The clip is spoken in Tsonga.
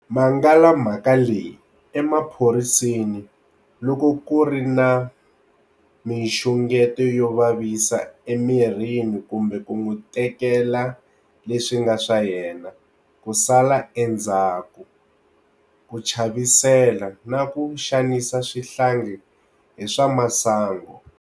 Mangala mhaka leyi emaphoriseni loko ku ri na mixungeto yo vavisa emirini kumbe ku n'wi tekela le swi nga swa yena, ku sala endzhaku, ku chavisela, na ku xanisa swihlangi hi swa masangu.